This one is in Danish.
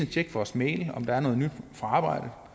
tjekke vores mail om der er noget nyt fra